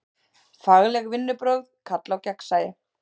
Fagleg vinnubrögð kalla á gagnsæi.